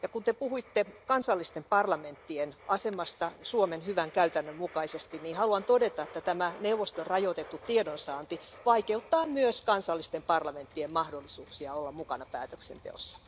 Kun Te puhuitte kansallisten parlamenttien asemasta Suomen hyvän käytännön mukaisesti, niin haluan todeta, että tämä neuvoston rajoitettu tiedonsaanti vaikeuttaa myös kansallisten parlamenttien mahdollisuuksia olla mukana päätöksenteossa.